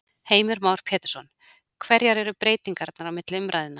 Heimir Már Pétursson: Hverjar eru breytingarnar á milli umræðna?